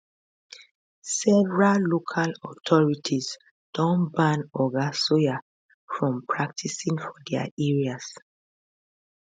several local authorities don ban oga sawyer from practising for dia areas